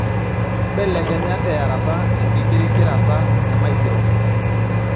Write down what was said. mbelekenya tearata enkikirikirata emaikirofon